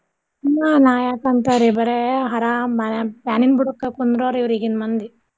ಹ್ಮ್ ನಾ ಯಾಕ ಅಂತಾರೀ ಬರೇ ಹರಾಮ್ fan ನಿನ್ ಬುಡಕ ಕುಂದ್ರೋರ್ರಿವ್ರು ಈಗಿನ್ ಮಂದಿ.